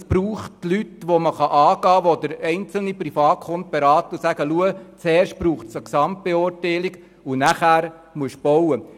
Es braucht Leute, die man angehen kann, die den einzelnen Privatkunden beraten und ihm sagen: Schau, zuerst braucht es eine Gesamtbeurteilung und danach kannst du bauen.